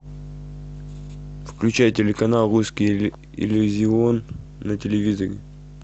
включай телеканал русский иллюзион на телевизоре